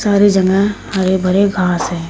सारे जगह हरे भरे घास हैं।